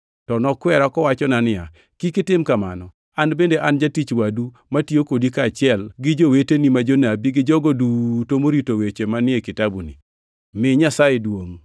To nokwera kowachona niya, “Kik itim kamano. An bende an jatich wadu matiyo kodi kaachiel gi joweteni ma jonabi gi jogo duto morito weche manie kitabuni. Mi Nyasaye duongʼ!”